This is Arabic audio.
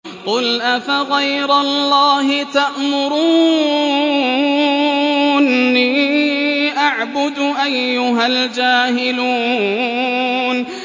قُلْ أَفَغَيْرَ اللَّهِ تَأْمُرُونِّي أَعْبُدُ أَيُّهَا الْجَاهِلُونَ